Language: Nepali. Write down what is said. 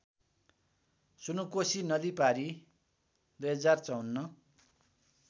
सुनकोशी नदीपारी २०५४